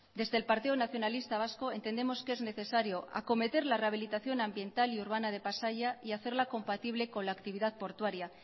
desde el partido nacionalista vasco entendemos que es necesario acometer la rehabilitación ambiental y urbana de pasaia y hacerla compatible con la actividad portuaria